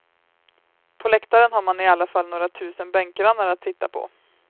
På läktaren har man i alla fall några tusen bänkgrannar att titta på.